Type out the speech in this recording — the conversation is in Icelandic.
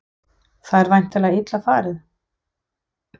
Það er væntanlega illa farið?